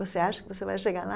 Você acha que você vai chegar lá?